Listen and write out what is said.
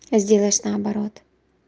сделаешь наоборот